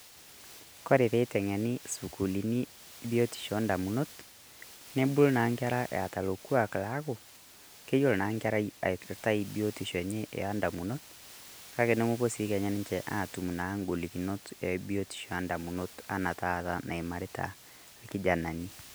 Koree pee iteng'eeni sukuulini biotisho e damunot, neebulu na nkeraa eeta lo lkwaak laaku keiyelo naa nkerrai aipirtai biotisho enye e damunot. Kaki nemepoo sii kenyaa ninchee atum naa nkolikinot e biotisho a damunot enaa taata naimaritaa lkijananii.